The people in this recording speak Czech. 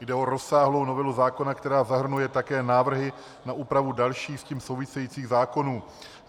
Jde o rozsáhlou novelu zákona, která zahrnuje také návrhy na úpravu dalších s tím souvisejících zákonů.